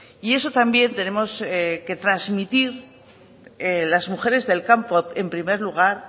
y eso también tenemos que trasmitir las mujeres del campo en primer lugar